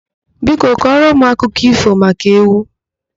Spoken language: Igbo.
Biko kọrọ m akụkọ ífò maka ewu.